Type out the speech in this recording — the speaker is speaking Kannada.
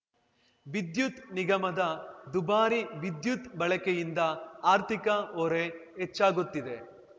ವಿದ್ಯುತ್ ನಿಗಮದ ದುಬಾರಿ ವಿದ್ಯುತ್‌ ಬಳಕೆಯಿಂದ ಆರ್ಥಿಕ ಹೊರೆ ಹೆಚ್ಚಾಗುತ್ತಿದೆ